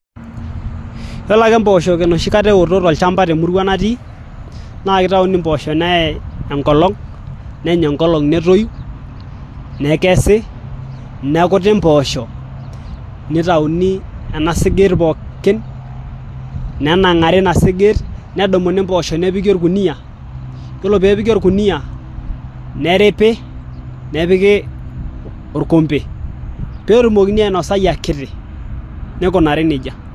yiolo ake impooshok enoshi kata ewoto tolchamba temurua natii na kitauni impooshok neyai enkolong nenya enkolong netoyu nekesi nekuti impooshok nitauni ena sigiit pookin nenang'ari ina sigiit nedumuni impooshok nepiki orkuniyia yiolo peepiki orkuniyia neripi nepiki orkombe peetumokini ainosai akiti nikunari nejia.